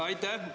Aitäh!